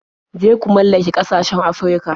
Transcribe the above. Je ku mallake ƙasashen Afirka.